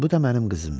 Bu da mənim qızımdır.